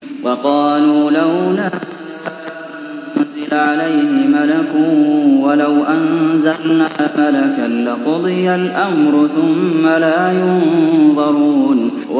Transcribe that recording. وَقَالُوا لَوْلَا أُنزِلَ عَلَيْهِ مَلَكٌ ۖ وَلَوْ أَنزَلْنَا مَلَكًا لَّقُضِيَ الْأَمْرُ ثُمَّ لَا يُنظَرُونَ